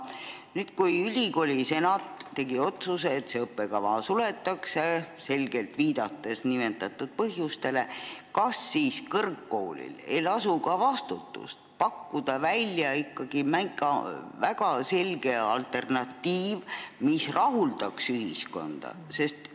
Nüüd, kui ülikooli senat tegi nimetatud põhjustele viidates otsuse, et see õppekava suletakse, siis kas kõrgkoolil ei lasu ikkagi vastutus pakkuda välja selge alternatiiv, mis rahuldaks ühiskonda?